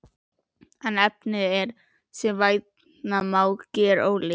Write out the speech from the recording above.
En efnið er, sem vænta má, gerólíkt.